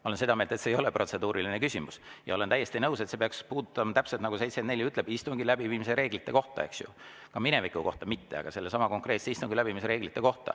Ma olen seda meelt, et see ei ole protseduuriline küsimus, ja olen täiesti nõus, et protseduuriline küsimus peaks puudutama, täpselt nagu § 74 ütleb, istungi läbiviimise reegleid, eks ju – ja mitte mineviku, vaid sellesama konkreetse istungi läbiviimise reegleid.